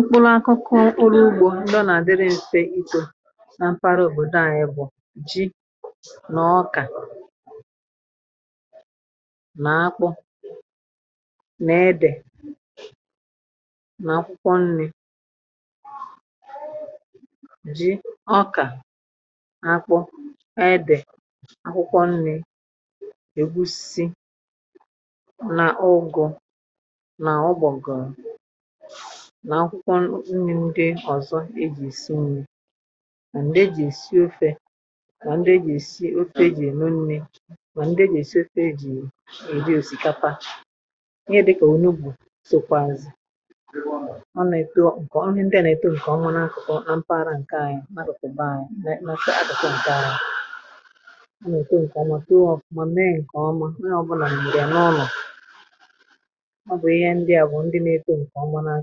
ukpolu̇ akụkụ urù ugbȯ ndọ nà-àdịrị ǹte itȯ nà mpara òbòdo anyị bụ̀ ji nà ọkà nà-akpọ na-edè nà-akwụkwọ nni̇ ji ọkà nà-akwụ e di̇ akwụkwọ nni̇ ègusi nà akwụkwọ nni̇ ndị ọ̀zọ e jì èsi nni̇ mà ndị e jì èsi ofe mà ndị e jì èsi ofe e jì èno nni̇ mà ndị e jì èsi ofe e jì èdi òsìkapa ihe dịkà onye ugbȯ sòkwàzì ọ nà ètu ǹkè onye ndị à nà-èto ǹkè ọnwụnà nà mparà ǹke anyị nà-adọ̀sòba anyị nà-èto ǹkè omu mà mee ǹkè ọmà nà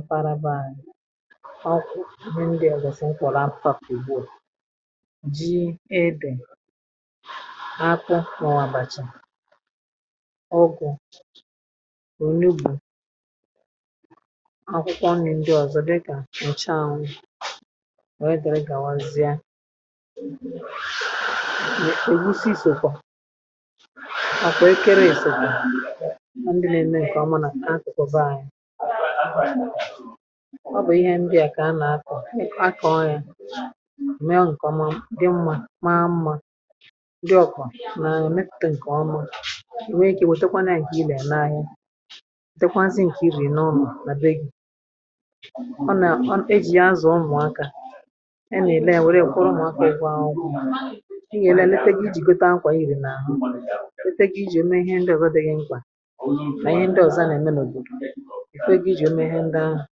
mparabàlị̀ ọkụ̀ nà ndị ǹdị ọ̀gọ̀sị̀ m kwọ̀rọ̀ apapù ìgbò ji edè akwụ̇ nà ọ̀wàbàchì ọgụ̀ ònubù akwụkwọ ǹdị ọ̀zọ̀ dịkà ǹcha onye dịrị gàwazịa ègusi sòkwà ọ bụ̀ ihe ndị à kà a nà-akọ̇ akọ̇ọ̇ anya mee ọ̀ nkwa mmȧ mmȧ mmȧ um ndị ọkwà nà-èmitterè ǹkè ọmà ò nwe ikė nwèe tekwa nà-ànyị̀ hà ị nà-ène àhịa zekwazị̇ ǹkè ị bụ̀ ène ọmà mà bè gị̇ ọ nà e jì yà azụ̀ ọmụ̀akȧ e nà-èle è nwèrè ike ụ̀kwụrụ ṁakọ̀ ị gà-èle eleteghi ijì gote akwà irì n’ahụ lete gị̇ ijì ume ihe ndị ọ̀zọ dịghị mkpà ǹke egȯ i jì o mee ihe ndị ahụ̀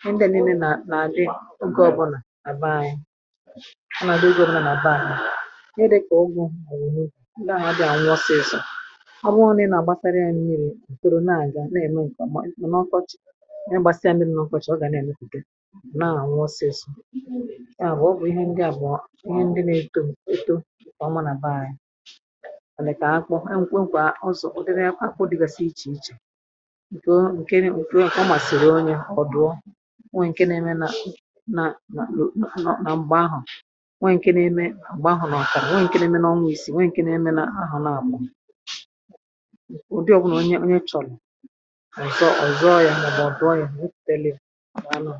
ihe ndị nille nà-adị ogè ọbụnà àbá anyị ọ nà-adị ugȯ bụrụ nà nà àbá anyị ihe dị̇kà ụgwọ̇ ọ̀zọ ndị ahụ̀ abìa ànwụ ọsịsọ̇ ọ bụghọ̇ nà-àgbasara yà n’imìri̇ ǹkẹ̀rọ̀ nà-aga nà-eme ǹkọ̀ mà ndị ọ̀kọchị̀ ndị gbasịa mmìrì nà ọkọchị̀ ọ gà nà-emekùde nà-ànwụ ọsịsọ̇ ndị àbụ̀ ọ bụ̀ ihe ndị abọ̀ọ ihe ndị nȧ-èto eto kà ọ ma nàbà anyị àlịkà àkpọ ha nkwe ǹkwà ọzọ̀ ụdịrị akpọ dịgàsị ichè ichè ọ̀ dụọ nwe nke na-eme nà nà nà nọ nà ǹgbà ahụ̀ nwe nke na-eme ǹgbà ahụ̀ nà-àkà nwe nke na-eme nà ọ nwụ̀ isi nwe nke na-eme nà ahụ̀ nà àkwà ụ̀dị ọ̀bụ̀nụ̀ onye onye ị chọ̀rọ̀ ọ̀zọ ọ̀zọ yȧ mọ̀bụ̀ ọ̀dụ ọ̀zọ yȧ telė nà anọ